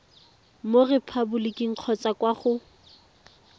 mo repaboliking kgotsa kwa go